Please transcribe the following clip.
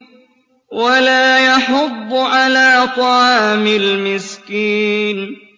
وَلَا يَحُضُّ عَلَىٰ طَعَامِ الْمِسْكِينِ